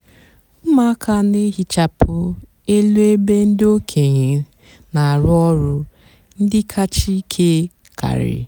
ụmụaka nà-èhichapụ élú ébé ndị ókéenyi nà-àrụ ọrụ ndị kàchá íkè karị.